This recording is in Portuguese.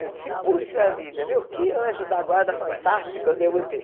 Eu disse, poxa vida, viu, que anjo da guarda fantástica eu devo ter.